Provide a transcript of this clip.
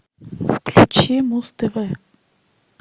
включи муз тв